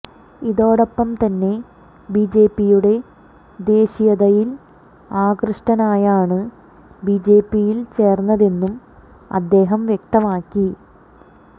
ഇതോടൊപ്പം തന്നെ ബിജെപി യുടെ ദേശീയതയിൽ ആകൃഷ്ടനായാണ് ബിജെപിയിൽ ചേർന്നതെന്നും അദ്ദേഹം വ്യക്തമാക്കി